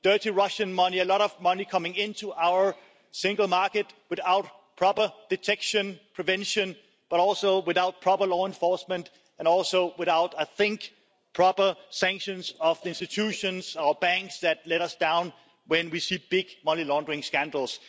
Dirty Russian money, a lot of money is coming into our single market without proper detection or prevention, but also without proper law enforcement and also without proper sanctions of the institutions and banks that let us down when we see big money laundering scandals.